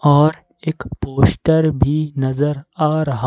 और एक पोस्टर भी नजर आ रहा।